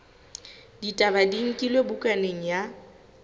ditaba di nkilwe bukaneng ya